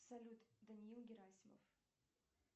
салют даниил герасимов